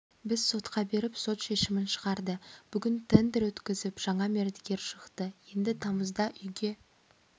біз сотқа беріп сот шешімін шығарды бүгін тендер өткізіп жаңа мердігер шықты енді тамызда үйге